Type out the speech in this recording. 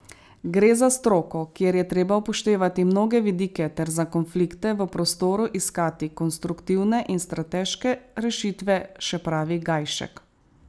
Gre za stroko, kjer je treba upoštevati mnoge vidike ter za konflikte v prostoru iskati konstruktivne in strateške rešitve, še pravi Gajšek.